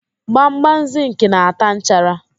Gbamgbam zịnkị na-ata nchara.